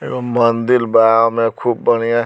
एगो मंदील बा ओमे खूब बढ़ियां --